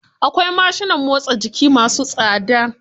Akwai mashinan motsa jiki masu tsada.